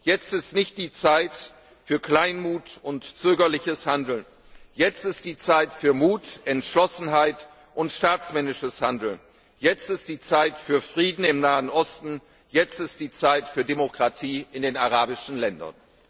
Jetzt ist nicht die Zeit für Kleinmut und zögerliches Handeln, jetzt ist die Zeit für Mut, Entschlossenheit und staatsmännisches Handeln, jetzt ist die Zeit für Frieden im Nahen Osten, jetzt ist die Zeit für Demokratie in den arabischen Ländern!